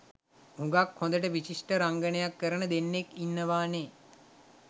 හුඟාක් හොඳට විශිෂ්ඨ රංගනයක් කරන දෙන්නෙක් ඉන්නවානේ.